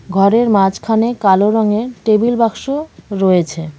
ঘরের মাঝখানে কালো রঙের টেবিল বাক্স রয়েছে.